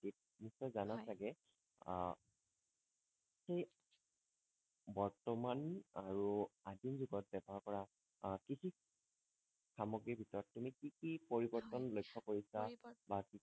নিশ্চয় জানা চাগে হয় আহ সেই বৰ্তমান আৰু আজিৰ যুগত ব্যৱহাৰ কৰা আহ কৃষি সামগ্ৰী ভিতৰত তুমি কি কি হয় পৰিবৰ্তন লক্ষ্য কৰিছা পৰিবৰ্তন বা কি কি